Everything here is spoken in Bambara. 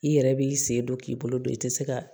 I yɛrɛ b'i sen don k'i bolo don i te se ka